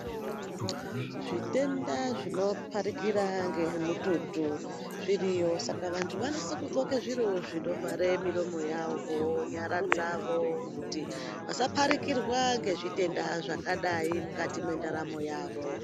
Zvitenda zvino pharikira ngemututu zviriyo, saka vantu vanosiso kugxoke zviro zvinovhara miromo yavo ,nyara dzavo kuti vasa pharikirwa ngezvitenda zvakadai mundaramo yavo.